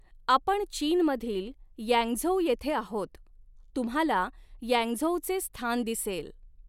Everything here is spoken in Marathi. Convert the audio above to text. आपण चीनमधील यँगझोउ येथे आहोत तुम्हाला यँगझोउचे स्थान दिसेल.